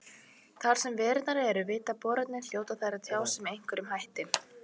Þar sem verurnar eru viti bornar hljóta þær að tjá sig með einhverjum hætti.